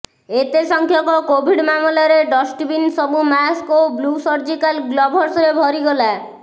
ଏତେ ସଂଖ୍ୟକ କୋଭିଡ୍ ମାମଲାରେ ଡଷ୍ଟବିନ୍ ସବୁ ମାସ୍କ ଓ ବ୍ଳୁ ସର୍ଜିକାଲ୍ ଗ୍ଲଭସରେ ଭରି ଗଲା